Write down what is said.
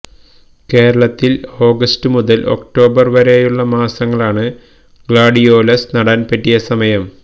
കേരളത്തിൽ ഓഗസ്ത് മുതൽ ഒക്ടോബർ വരെയുള്ളമാസങ്ങളാണ് ഗ്ലാഡിയോലസ് നടാൻ പറ്റിയ സമയം